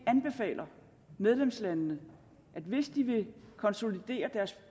anbefaler medlemslandene at hvis de vil konsolidere deres